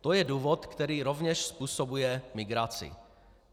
To je důvod, který rovněž způsobuje migraci.